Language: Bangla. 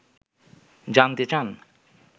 জানতে চান